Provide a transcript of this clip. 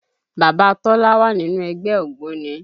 Bàbá Tọ́lá wà nínú ẹgbẹ́ ògbóni